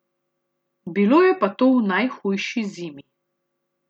Bilo je pa to v najhujši zimi.